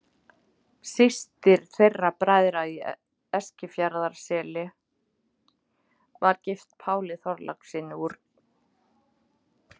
Systir þeirra bræðra í Eskifjarðarseli var gift Páli Þorlákssyni úr